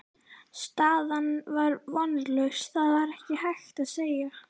Staðan var vonlaus, það var ekkert hægt að segja.